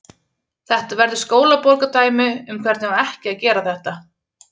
Þetta verður skólabókardæmi um hvernig á ekki að gera þetta.